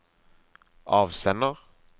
avsender